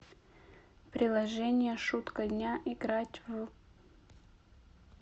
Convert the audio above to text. приложение шутка дня играть в